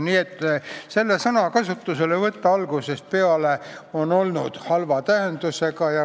Nii et selle sõna kasutuselevõtt on algusest peale olnud halva tähendusega.